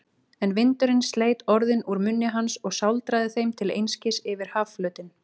En vindurinn sleit orðin úr munni hans og sáldraði þeim til einskis yfir hafflötinn.